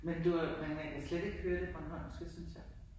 Men du er men man kan slet ikke høre det bornholmske synes jeg